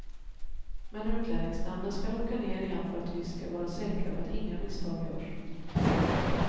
Men utlänningsnämnden skall åka ner igen för att vi skall vara säkra på att inga misstag görs.